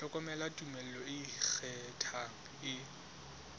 hloka tumello e ikgethang e